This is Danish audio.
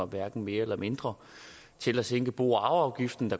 hverken mere eller mindre til at sænke bo og arveafgiften